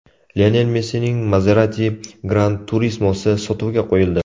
Lionel Messining Maserati GranTurismo‘si sotuvga qo‘yildi .